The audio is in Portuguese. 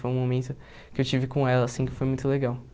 Foi um momento que eu tive com ela, assim, que foi muito legal.